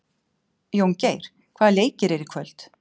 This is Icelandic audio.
Jóngeir, hvaða leikir eru í kvöld?